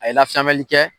A ye lasamɛli kɛ